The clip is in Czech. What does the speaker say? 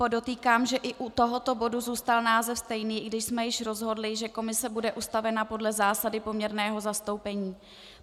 Podotýkám, že i u tohoto bodu zůstal název stejný, i když jsme již rozhodli, že komise bude ustavena podle zásady poměrného zastoupení.